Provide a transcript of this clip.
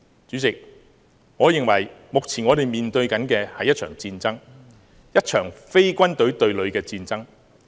主席，我認為目前我們面對的是一場戰爭，一場非軍隊對疊的戰爭。